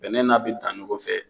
Bɛnɛ n'a bi dan ɲɔgɔn nɔ fɛ.